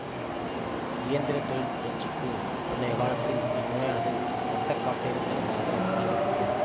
இயந்திர தொழில் புரட்சிக்கு முன்னைய காலத்தில் இந்நோயானது இரத்தக்காட்டேரித்தனமாக கருதப்பட்டது